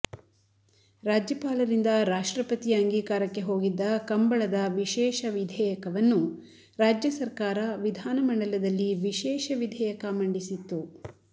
ರಾಜ್ಯಪಾಲರಿಂದ ರಾಷ್ಟ್ರಪತಿ ಅಂಗೀಕಾರಕ್ಕೆ ಹೋಗಿದ್ದ ಕಂಬಳದ ವಿಶೇಷ ವಿಧೇಯಕವನ್ನು ರಾಜ್ಯ ಸರ್ಕಾರ ವಿಧಾನ ಮಂಡಲದಲ್ಲಿ ವಿಶೇಷ ವಿಧೇಯಕ ಮಂಡಿಸಿತ್ತು